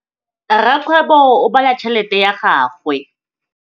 Rakgwêbô o bala tšheletê ya gagwe.